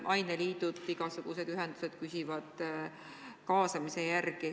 Aineliidud, igasugused ühendused küsivad kaasamise kohta.